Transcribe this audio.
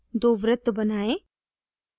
दो वृत्त बनाएं